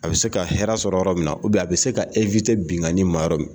A bɛ se ka hɛrɛ sɔrɔ yɔrɔ min na a bɛ se ka binnkanni ma yɔrɔ min